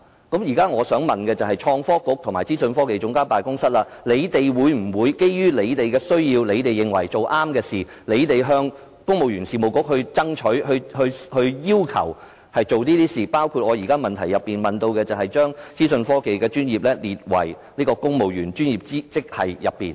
我現在想問局長，創科局和資科辦，會否基於他們的需要，以及認為要做正確的事，而向公務員事務局爭取推行有關措施，包括我在主體質詢提出的"將資訊及通訊科技專業列為公務員專業職系"？